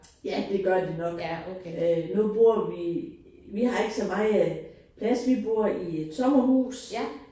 Ja det gør det nok. Nu bor vi vi har ikke så meget plads vi bor i et sommerhus